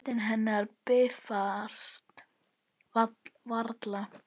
Rödd hennar bifast varla.